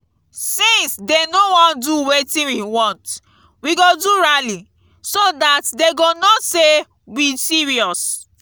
since dey no wan do wetin we want we go do rally so dat dey go know say we serious